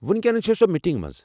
وُنِكینس چھےٚ سۄ میٖٹنٛگ منٛز۔